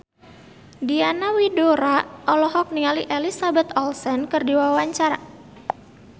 Diana Widoera olohok ningali Elizabeth Olsen keur diwawancara